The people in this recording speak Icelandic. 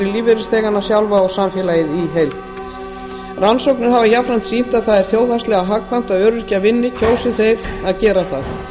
lífeyrisþegana sjálfa og samfélagið í heild rannsóknir hafa jafnframt sýnt að það er þjóðhagslega hagkvæmt að öryrkjar vinni kjósi þeir að gera það